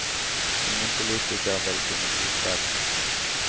Ingen politiker vil kunne godta det.